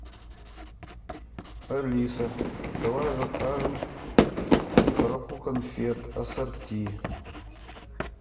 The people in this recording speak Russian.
алиса давай закажем коробку конфет ассорти